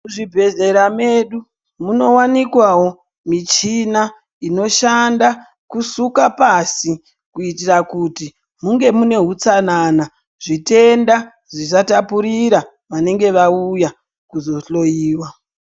Muzvibhedhlera mwedu munowanikwawo michina inoshanda kusuka pasi kuitira kuti munger muine utsanana zvitenda zvisatapurira vanenge vauya kuzohloyiwa .